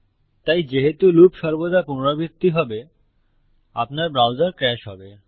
তাই যেহেতু লুপ সর্বদা পুনরাবৃত্তি হবে আপনার ব্রাউজার ক্র্যাশ হবে